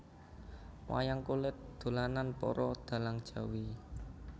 Wayang kulit dolanan para dhalang Jawi